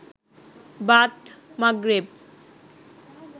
বাদ মাগরেব